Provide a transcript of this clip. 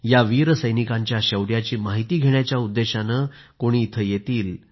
या वीर सैनिकांच्या शौर्याची माहिती घेण्याच्या उद्देशाने कोणी इथं येतील